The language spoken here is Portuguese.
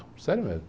Sério mesmo.